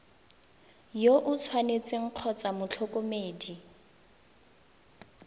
yo o tshwanetseng kgotsa motlhokomedi